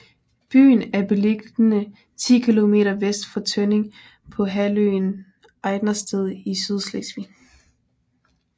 Byen er beliggende ti kilometer vest for Tønning på halvøen Ejdersted i Sydslesvig